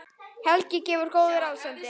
Helgi gefur góð ráð, sendir